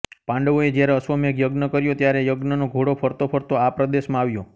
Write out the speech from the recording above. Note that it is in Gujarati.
પાંડવોએ જ્યારે અશ્વમેઘ યજ્ઞ કર્યો ત્યારે યજ્ઞનો ઘોડો ફરતો ફરતો આ પ્રદેશમાં આવ્યો